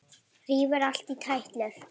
Rífur allt í tætlur.